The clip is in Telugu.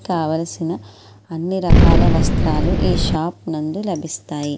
కావలసిన అన్ని రకాల వస్త్రాలు ఈ షాప్ నందు లభిస్తాయి.